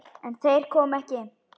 En þeir koma ekki.